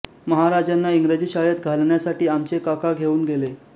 महाराजांना इंग्रजी शाळेत घालण्यासाठी आमचे काका घेऊन गेले